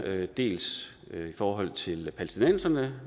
dels i forhold til palæstinenserne